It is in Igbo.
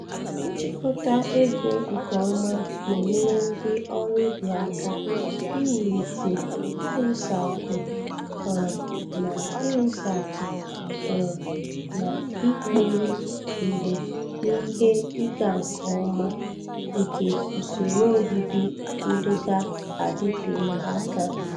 Ịchịkọta ego nke ọma na-enyere ndị ọrụ ubi aka iwulite iwusakwu um na iwusakwu um na ikpori mgbe n'ihe ịga nke ọma nke usoro obibi ndụga-adịte aka.